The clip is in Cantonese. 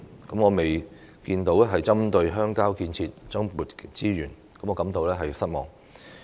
我也沒有看到政府針對鄉郊建設增撥資源，為此感到失望。